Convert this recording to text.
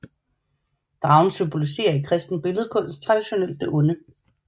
Dragen symboliserer i kristen billledkunst traditionelt det onde